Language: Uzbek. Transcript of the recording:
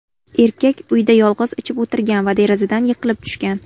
Erkak uyida yolg‘iz ichib o‘tirgan va derazadan yiqilib tushgan.